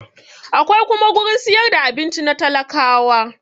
Akwai kuma gurin siyar da abinci na talakawa